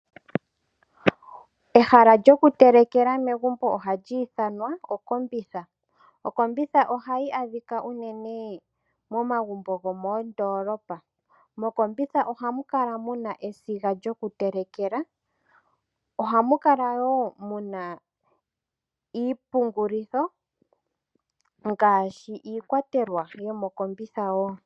Ehala lyoku telekela megumbo ohali ithanwa okombitha. Okombitha ohayi adhika unene momagumbo gomoondolopa. Mokombitha ohamu kala muna esiga lyoku telekela ohamu kala muna niipungulitho ngaashi iikwatelwa yomo kombitha.